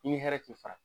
I bi hɛrɛ k'i fa